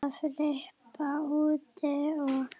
að flippa út og